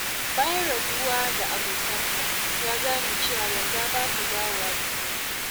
Bayan rabuwa da abokansa, ya gane cewa yarda ba ta dawowa da sauƙi.